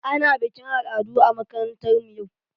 Ana bikin al'adu a makarantar mu yau.